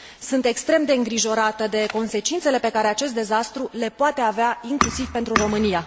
Sunt extrem îngrijorată față de consecințele pe care acest dezastru le poate avea inclusiv pentru România.